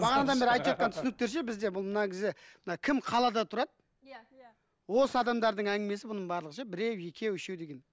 бағанадан бері айтып жатқан түсініктер ше бізде бұл мына мына кім қалада тұрады иә иә осы адамдардың әңгімесі бұның барлығы ше біреу екеу үшеу деген